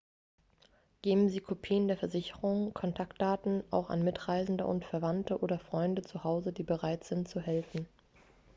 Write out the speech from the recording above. geben sie kopien der versicherung/kontaktdaten auch an mitreisende und verwandte oder freunde zu hause die bereit sind zu helfen